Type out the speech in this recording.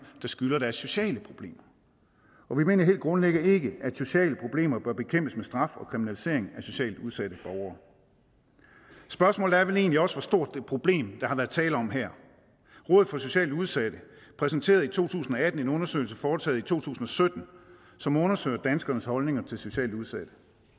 der skyldes at der er sociale problemer og vi mener helt grundlæggende heller ikke at sociale problemer bør bekæmpes med straf og kriminalisering af socialt udsatte borgere spørgsmålet er vel egentlig også hvor stort et problem der har været tale om her rådet for socialt udsatte præsenterede i to tusind og atten en undersøgelse foretaget i to tusind og sytten som undersøgte danskernes holdninger til socialt udsatte